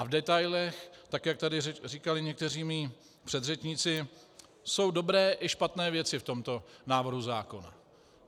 A v detailech, tak jak tady říkali někteří mí předřečníci, jsou dobré i špatné věci v tomto návrhu zákona.